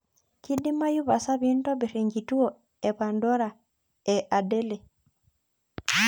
kidimayu pasa piintobirr enkituo ee pandora ee adele